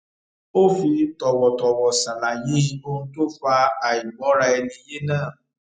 ó fi tòwòtòwò ṣàlàyé ohun tó fa àìgbọraẹniyé náà